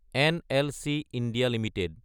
NLC India Ltd